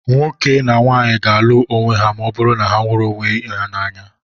nwoke na nwaanyị ga-alụ onwe ha ma ọ bụrụ na ha hụrụ ibe ha n'anya